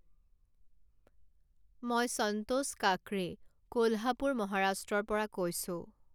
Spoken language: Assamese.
মই সন্তোষ কাকড়ে, কোলহাপুৰ, মহাৰাষ্ট্ৰৰ পৰা কৈছোঁ।